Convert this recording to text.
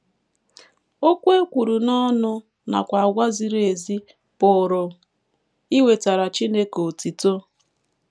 Okwu e kwuru n’ọnụ nakwa àgwà ziri ezi pụrụ iwetara Chineke otuto.